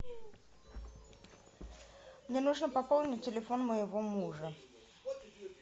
мне нужно пополнить телефон моего мужа